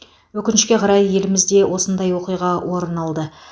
өкінішке қарай елімізде осындай оқиға орын алды